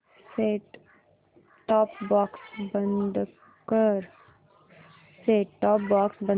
set top box बंद कर